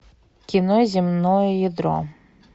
кино земное ядро